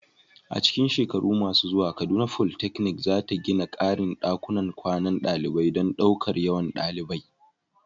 A cikin shekaru masu zuwa, Kaduna Polytechnic za ta gina ƙarin ɗakunan kwanan ɗalibai don ɗaukar yawan ɗalibai.